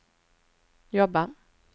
jobba